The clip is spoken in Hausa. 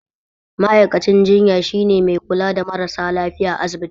Ma'aikacin jinya shine mai kula da marasa lafiya asibiti